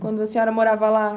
Quando a senhora morava lá.